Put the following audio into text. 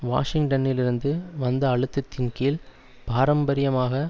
வாஷிங்டனிலிருந்து வந்த அழுத்தத்தின் கீழ் பாரம்பரியமாக